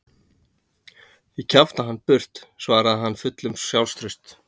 Ég kjafta hann burt, svaraði hann fullur sjálfstrausts.